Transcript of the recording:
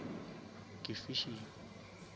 ke fishing